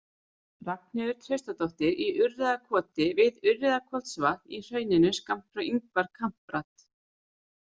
Ragnheiður Traustadóttir Í Urriðakoti við Urriðakotsvatn í hrauninu skammt frá Ingvar Kamprad.